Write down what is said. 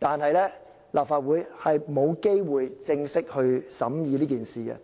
但偏偏立法會沒有機會正式審議。